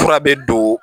Fura bɛ don